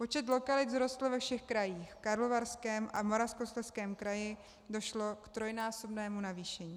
Počet lokalit vzrostl ve všech krajích, v Karlovarském a Moravskoslezském kraji došlo k trojnásobnému navýšení.